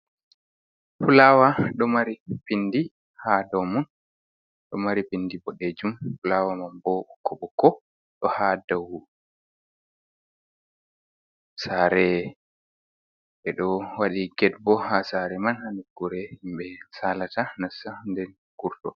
Fulawa ɗo mari pindi ha dow mun ɗo mari bindi boɗejum fulawa man bo ɓokko ɓokko ɗo ha dow sare ɓe ɗo waɗi get bo ha sare man ha nukkure himɓe salata nasta nden kurto.